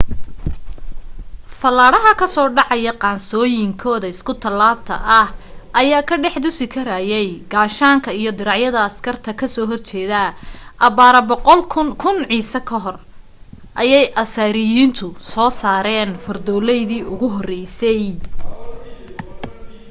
fallaadhaha ka soo dhacaya qaansooyinkooda isku tallaabta ah ayaa ka dhex dusi karayay gaashaanka iyo diracyada askarta ka soo horjeeda abbaaro 1000 ciise ka hor ayay asiiriyaanku soo saareen fardoolaydii ugu horreysay